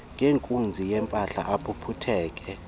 ngenkunzi yempama aphuphutheke